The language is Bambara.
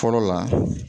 Fɔlɔ la